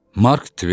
Mark Tven.